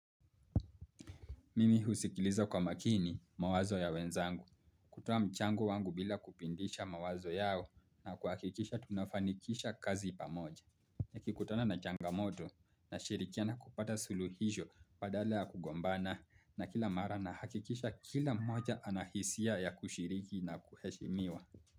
Mimi husikiliza kwa makini mawazo ya wenzangu. Kutoa mchango wangu bila kupindisha mawazo yao na kuhakikisha tunafanikisha kazi pamoja. Nikikutana na changamoto nashirikiana kupata suluhisho badala ya kugombana na kila mara nahakikisha kila mmoja anahisia ya kushiriki na kuheshimiwa.